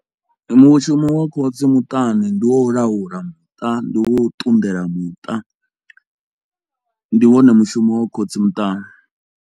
Mushumo wa khotsi muṱani ndi wa u laula muṱa, ndi wo ṱunḓela muṱa, ndi wone mushumo wa khotsi muṱani.